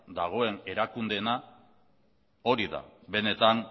dagoen erakundeena hori da benetan